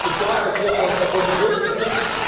сейчас отъехал от работы десять минут